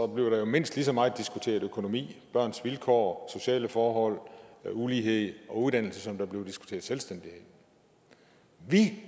der jo mindst lige så meget diskuteret økonomi børns vilkår sociale forhold ulighed og uddannelse som der bliver diskuteret selvstændighed vi